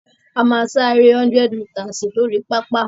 A máa sá eré 100 mítasì lórí pápá.